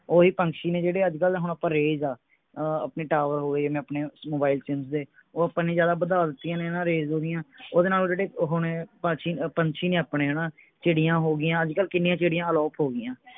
ਓਹੀ ਪਕ੍ਸ਼ੀ ਨੇ ਜਿਹੜੇ ਅੱਜਕਲ ਹੁਣ ਆਪਾਂ rays ਆ ਅਹ ਆਪਣੇ ਟਾਵਰ ਹੋਗੇ ਜਿਵੇਂ ਆਪਨੇ ਮੋਬਾਈਲ ਉਹ ਆਪਣੀ ਜਿਆਦਾ ਵਧਾ ਦਿਤੀਆਂ ਨੇ ਨਾ rays ਓਹਦੇ ਨਾਲ ਉਹ ਜਿਹੜੇ ਓਹੋ ਨੇ ਪੰਛੀ ਪੰਛੀ ਨੇ ਆਪਣੇ ਹਣਾ ਚਿੜੀਆਂ ਹੋ ਗਿਆ ਅੱਜਕਲ ਕਿੰਨੀਆਂ ਚਿੜੀਆਂ ਅਲੋਪ ਹੋ ਗਿਆ